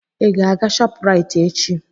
Ị ga-aga Shopraịt echi?